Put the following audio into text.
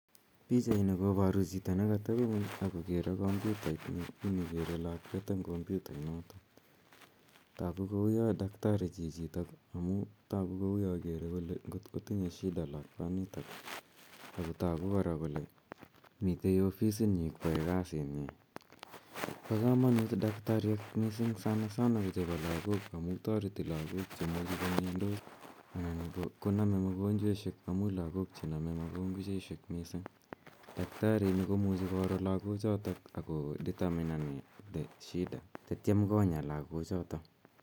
Pochaini koparu chito ne katepi ng'uny ak kokere kompyutait ne kere lakwet eng' kompyutainotok. Tagu kou ya daktari chichitok amu tagu kou kere kole ngot ko tinye shida lakwanitak ako tagu kora kole mitei ofisinyi koyae kasinyi. Pa kamanut missing' daktariek sanasana ko chepo lagok amu tareti lagok imuchi ko miandos anan ko name mogonchweshek amu lagok che name mogonchweshek missing'. Daktari ini ko muchi koro lagochutok ako determinan shida tatiam konya lagochotok.